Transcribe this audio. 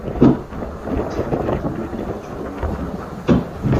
поставь на тв передачу родное кино